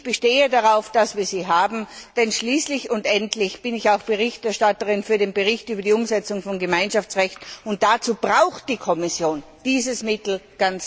Ich bestehe darauf, dass wir sie haben, denn schließlich und endlich bin ich auch Berichterstatterin für den Bericht über die Umsetzung von Gemeinschaftsrecht, und dazu braucht die Kommission dieses Mittel ganz dringend.